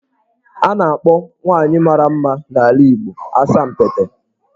A na-akpọ nwaanyị mara mma n'ala Igbo 'Asampete'.